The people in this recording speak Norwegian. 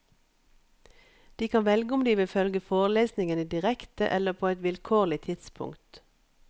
De kan velge om de vil følge forelesningene direkte eller på et vilkårlig tidspunkt.